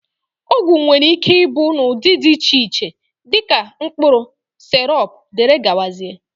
ọgwụ nwere ike ịbụ n'ụdị dị iche iche, dị ka mkpụrụ, sirọp wdg